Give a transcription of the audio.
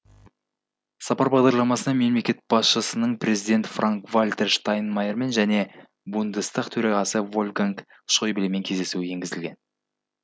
сапар бағдарламасына мемлекет басшысының президент франк вальтер штайнмайермен және бундестаг төрағасы вольфганг шойблемен кездесуі енгізілген